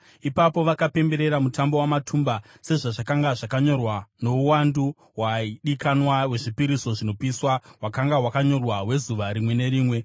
Ipapo vakapemberera Mutambo waMatumba sezvazvakanga zvakanyorwa, nouwandu hwaidikanwa hwezvipiriso zvinopiswa hwakanga hwakanyorwa, hwezuva rimwe nerimwe.